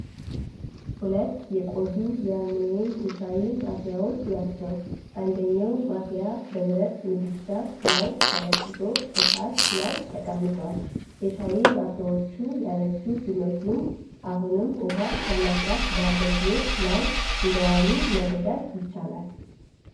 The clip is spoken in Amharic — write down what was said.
ሁለት የቆዩ የአሉሚኒየም ሻይ ማፍያዎች ናቸው። አንደኛው ማፍያ በብረት ምድጃ ላይ በተለኮሰ እሳት ላይ ተቀምጧል። የሻይ ማፍያዎቹ ያረጁ ቢመስሉም፣ አሁንም ውሃ ለማፍላት በአገልግሎት ላይ እንደዋሉ መረዳት ይቻላል።